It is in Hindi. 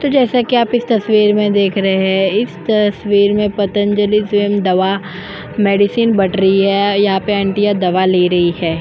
तो जैसा कि आप इस तस्वीर में देख रहे हैं इस तस्वीर में पतंजलि स्वयम दवा मेडिसिन बट रही है यहां पे आंटिया दवा ले रही है।